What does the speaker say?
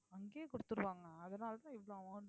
அங்கேயே கொடுத்திருவாங்க அதனாலதான் இவ்வளவு amount